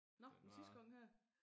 Nå den sidste gang her